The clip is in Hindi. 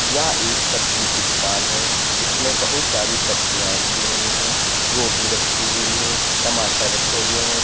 यह एक सब्जी की दुकान है जिसमें बहुत सारी सब्जियां रखी हुई हैं गोभी रखी हुई है टमाटर रखे हुए हैं।